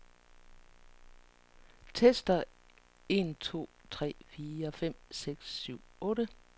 Tester en to tre fire fem seks syv otte.